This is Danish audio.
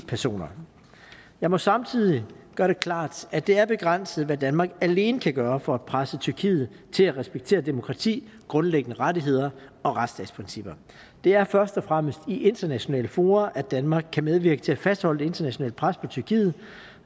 personer jeg må samtidig gøre det klart at det er begrænset hvad danmark alene kan gøre for at presse tyrkiet til at respektere demokrati grundlæggende rettigheder og retsstatsprincipper det er først og fremmest i internationale fora at danmark kan medvirke til at fastholde det internationale pres på tyrkiet